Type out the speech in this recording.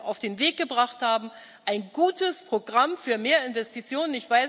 auf den Weg gebracht haben ein gutes Programm für mehr Investitionen.